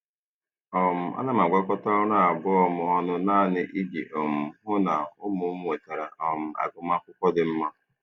um Ana m agwakọta ọrụ abụọ m ọnụ naanị iji um hụ na ụmụ m nwetara um agụmakwụkwọ dị mma.